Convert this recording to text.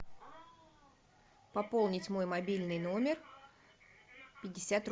пополнить мой мобильный номер пятьдесят